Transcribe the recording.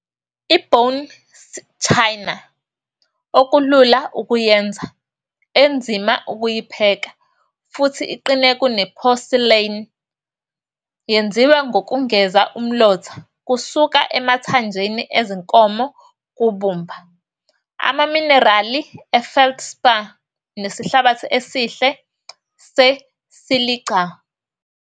I-Bone china - okulula ukuyenza, enzima ukuyipheka futhi iqine kune-porcelain - yenziwa ngokungeza umlotha kusuka emathanjeni ezinkomo kubumba, amaminerali e-feldspar nesihlabathi esihle se-silica.